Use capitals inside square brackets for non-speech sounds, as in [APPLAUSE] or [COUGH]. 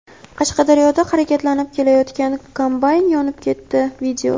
Qashqadaryoda harakatlanib ketayotgan kombayn yonib ketdi. [VIDEO]